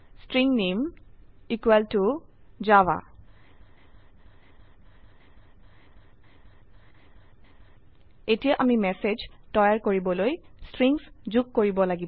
string নামে equal ত Java এতিয়া আমি ম্যাসেজ তৈয়াৰ কৰিবলৈ স্ট্ৰিংস যোগ কৰিব লাগিব